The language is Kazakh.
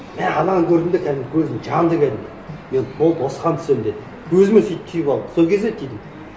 мә ананы көрдім де кәдімгідей көзім жанды кәдімгідей мен болды осыған түсемін дедім өзіме сөйтіп түйіп алдым сол кезде түйдім